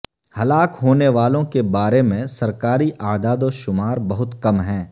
ہلاک ہونے والوں کے بارے میں سرکاری اعداوشمار بہت کم ہیں